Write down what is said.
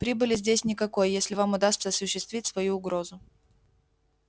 прибыли здесь никакой если вам удастся осуществить свою угрозу